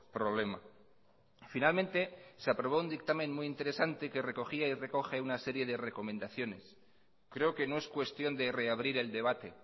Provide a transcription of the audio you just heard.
problema finalmente se aprobó un dictamen muy interesante que recogía y recoge una serie de recomendaciones creo que no es cuestión de reabrir el debate